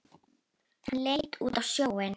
Hann leit út á sjóinn.